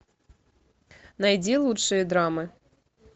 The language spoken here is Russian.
найди лучшие драмы